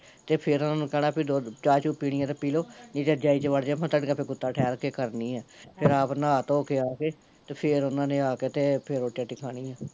ਤੇ ਫਿਰ ਉਹਨਾਂ ਨੂੰ ਕਹਿਣਾ ਦੁੱਧ, ਚਾਹ ਚੁ ਪੀਣੀ ਐ ਤੇ ਪਿਲੋ, ਨਹੀਂ ਤਾਂ ਫਿਰ ਰਜਾਈ ਚ ਵੜਜੋ ਮੈਂ ਤੁਹਾਡੀਆਂ ਗੁੱਤਾਂ ਥੋੜਾ ਠਹਿਰ ਕੇ ਕਰਦੀ ਆ ਫਿਰ ਆਪ ਨਹਾ ਧੋਕੇ ਆਕੇ, ਫੇਰ ਓਹਨਾਂ ਨੇ ਆਕੇ ਤੇ ਰੋਟੀ ਰਟੀ ਖਾਣੀ ਏ